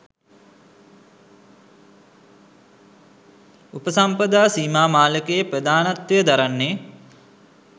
උපසම්පදා සීමා මාලකයේ ප්‍රධානත්වය දරන්නේ